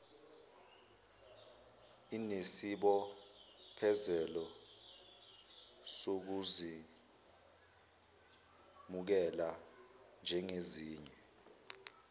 inesibophezelo sokuzemukela njengezinye